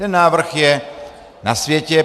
Ten návrh je na světě.